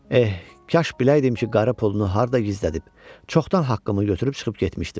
Eh, kaş biləydim ki, qarı pulunu harda gizlədib, çoxdan haqqımı götürüb çıxıb getmişdim.